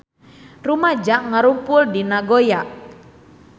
Rumaja ngarumpul di Nagoya